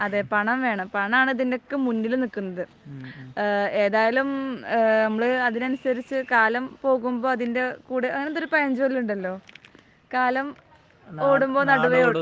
അതേ പണം വേണം. പണം ആണ് ഇതിന്റെയൊക്കെ മുമ്പിൽ നിൽക്കുന്നത്. ഏതായാലും നമ്മൾ അതിനനുസരിച്ച് കാലം പോകുമ്പോൾ അതിൻറെ കൂടെ. അങ്ങനെ എന്തോ ഒരു പഴഞ്ചൊല്ല് ഉണ്ടല്ലോ കാലം ഓടുമ്പോൾ നടുവേ